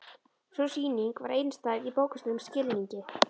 Sú sýning var einstæð í bókstaflegum skilningi.